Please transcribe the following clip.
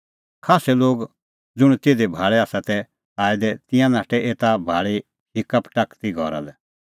खास्सै लोग ज़ुंण तिधी भाल़ै तै आऐ दै एता भाल़ी नाठै हिक्का पटाकदी घरा लै